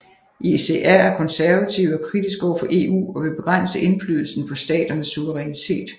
ECR er konservative og kritiske overfor EU og vil begrænse indflydelsen på staternes suverænitet